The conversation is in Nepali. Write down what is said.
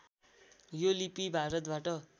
यो लिपि भारतबाट